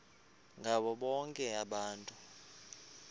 ngabo bonke abantu